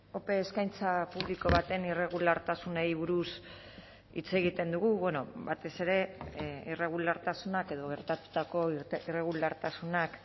ope eskaintza publiko baten irregulartasunei buruz hitz egiten dugu batez ere irregulartasunak edo gertatutako irregulartasunak